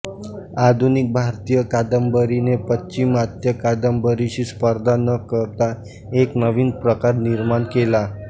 आधुनिक भारतीय कादंबरीने पाश्चिमात्य कादंबरीशी स्पर्धा न करता एक नवीन प्रकार निर्माण केला